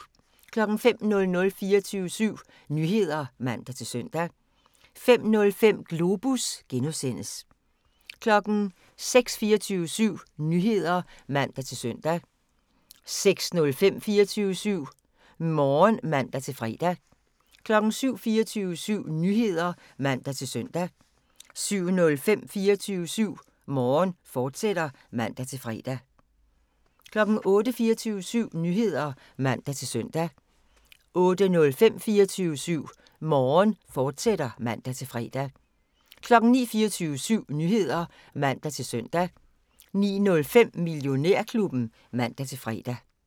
05:00: 24syv Nyheder (man-søn) 05:05: Globus (G) 06:00: 24syv Nyheder (man-søn) 06:05: 24syv Morgen (man-fre) 07:00: 24syv Nyheder (man-søn) 07:05: 24syv Morgen, fortsat (man-fre) 08:00: 24syv Nyheder (man-søn) 08:05: 24syv Morgen, fortsat (man-fre) 09:00: 24syv Nyheder (man-søn) 09:05: Millionærklubben (man-fre)